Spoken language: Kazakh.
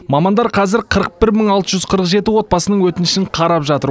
мамандар қазір қырық бір мың алты жүз қырық жеті отбасының өтінішін қарап жатыр